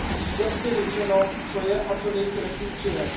Musí být jasně řečeno, co je a co není trestním činem.